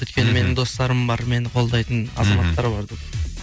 өйткені менің достарым бар мені қолдайтын азаматтар бар деп